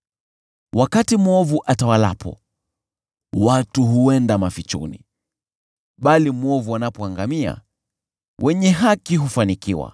Wakati waovu watawalapo, watu huenda mafichoni, bali waovu wanapoangamia, wenye haki hufanikiwa.